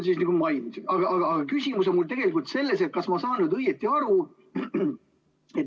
Aga küsimus on mul tegelikult selles, kas ma saan õigesti aru.